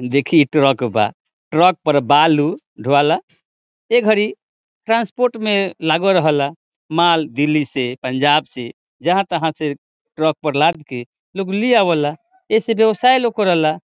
देखी इ ट्रक बा ट्रक पर बालू ढोएला ए घड़ी ट्रांसपोर्ट मे लागा रहेला माल दिल्ली से पंजाब से जहां-तहां से ट्रक पर लाद के लोग ले आवेला ए से व्यवसाय लोग करेला